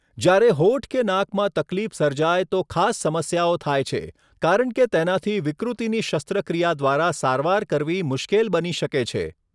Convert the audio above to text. જ્યારે હોઠ કે નાકમાં તકલીફ સર્જાય તો ખાસ સમસ્યાઓ થાય છે, કારણ કે તેનાથી વિકૃતિની શસ્ત્રક્રિયા દ્વારા સારવાર કરવી મુશ્કેલ બની શકે છે.